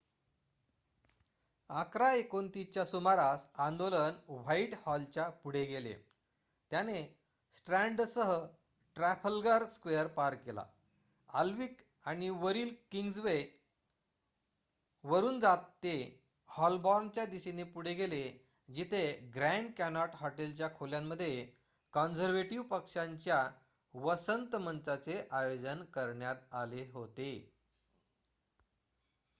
११ः२९ च्या सुमारास आंदोलन व्हाइटहॉलच्या पुढे गेले त्याने स्ट्रँडसह ट्रफलगर स्क्वेअर पार केला अल्विक आणि वरील किंग्सवे वरून जात ते हॉलबॉर्नच्या दिशेने पुढे गेले जिथे ग्रँड कॅनोट हॉटेलच्या खोल्यांमध्ये कॉन्झर्व्हेटिव्ह पक्षाच्या वसंत मंचाचे आयोजन करण्यात आले होते